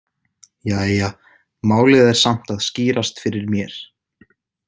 Jæja, málið er samt að skýrast fyrir mér.